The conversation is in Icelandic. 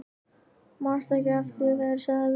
Manstu ekki eftir því hvað ég sagði við þig?